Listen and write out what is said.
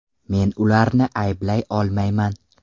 Men ularni ayblay olmayman.